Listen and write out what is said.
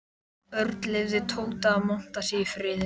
Örn leyfði Tóta að monta sig í friði.